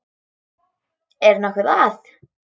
Er nokkuð að?